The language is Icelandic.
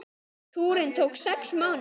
Túrinn tók sex mánuði.